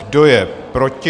Kdo je proti?